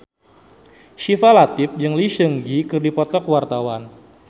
Syifa Latief jeung Lee Seung Gi keur dipoto ku wartawan